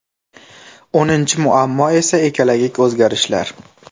O‘ninchi muammo esa ekologik o‘zgarishlar.